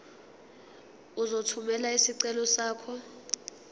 uzothumela isicelo sakho